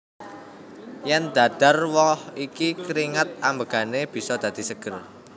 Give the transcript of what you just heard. Yèn dhahar woh iki keringat ambegane bisa dadi seger